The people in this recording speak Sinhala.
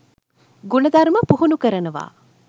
ගුණධර්ම පුහුණු කරනවා